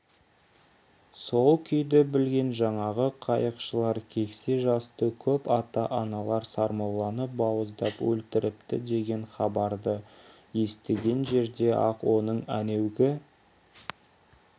сол күйді білген жаңағы қайықшылар кексе жасты көп ата-аналар сармолланы бауыздап өлтіріпті деген хабарды естіген жерде-ақ оның әнеугі